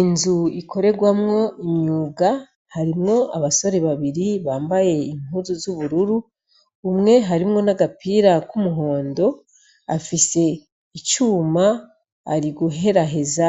Inzu ikorerwamwo umwuga harimwo abasore babiri bambaye impuzu z'ubururu, umwe harimwo n'agapira k'umuhondo, afise icuma ari guheraheza